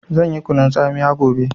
Zan yi kunun tsamiya gobe